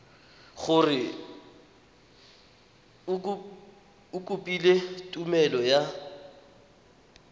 gore o kopile tumelelo ya